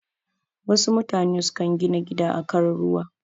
Wasu mutane sukan gina gida a kan ruwa.